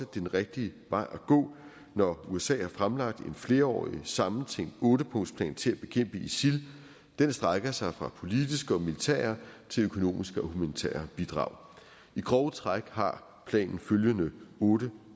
den rigtige vej at gå når usa har fremlagt en flerårig sammentænkt ottepunktsplan til at bekæmpe isil den strækker sig fra politiske og militære til økonomiske og humanitære bidrag i grove træk har planen følgende otte